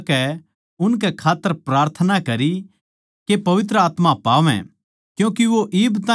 उननै ओड़ै जाकै उनकै खात्तर प्रार्थना करी के पवित्र आत्मा पावै